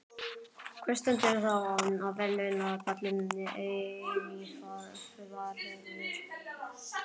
Hver stendur þá á verðlaunapalli eilífðarinnar?